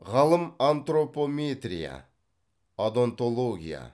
ғалым антропометрия одонтология